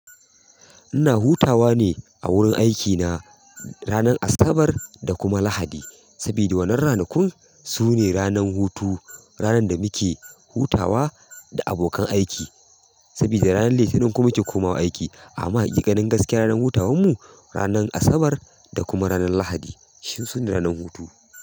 Ina hutawa ne a wurin aikina ranar Asabar da kuma Lahadi. Saboda wannan ranakun sune ranar hutu, ranar da muke hutawa da abokan aiki. Saboda ranar Litinin kuma muke komawa aiki. Amma haƙiƙanin gaskiya ranar hutawanmu ranar Asabar da kuma ranar Lahadi. Sune ranar hutu?